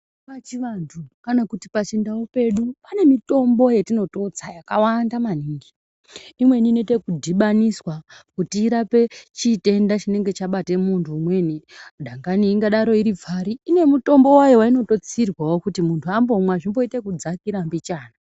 Pachivantu kana kuti pachindau pedu pane mimitombo yatinototsa yakawanda maningi imweni inoite ekudhibaniswa kuti irape chitenda Chinenge chabate muntu umweni dangani ingadaro iri pfari ine mutombo wayo wainototsirwawo kuti muntu ambomwa zvimboite ekudzakira mbichana.